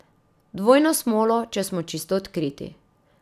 Dvojno smolo, če smo čisto odkriti.